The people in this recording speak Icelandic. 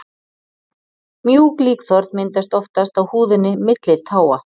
mjúk líkþorn myndast oftast á húðinni milli táa